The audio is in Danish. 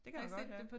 Det kan man godt ja